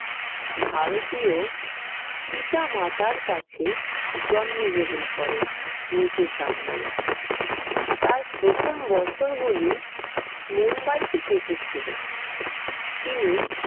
ভারতীয় পিতা-মাতার কাছে জন্মগ্রহণ করেন, মুকেশ আম্বানি। তার প্রথম বছরগুলি মুম্বাইতে কেটেছিলো। তিনি